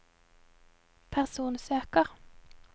personsøker